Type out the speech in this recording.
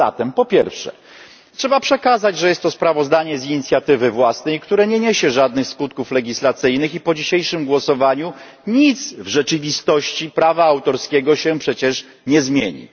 A zatem, po pierwsze, trzeba przekazać, że jest to sprawozdanie z inicjatywy własnej, które nie niesie żadnych skutków legislacyjnych i po dzisiejszym głosowaniu nic w rzeczywistości prawa autorskiego się przecież nie zmieni.